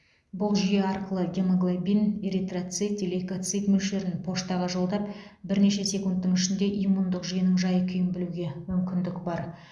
бұл жүйе арқылы гемоглобин эритроцит лейкоцит мөлшерін поштаға жолдап бірнеше секундтың ішінде иммундық жүйенің жай күйін білуге мүмкіндік бар